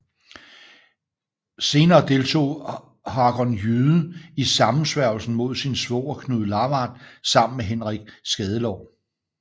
Senere deltog Hakon Jyde i sammensværgelsen mod sin svoger Knud Lavard sammen med Henrik Skadelår